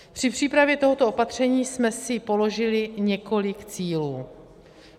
Při přípravě tohoto opatření jsme si položili několik cílů.